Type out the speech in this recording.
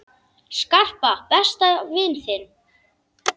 Skarpa, besta vin þinn!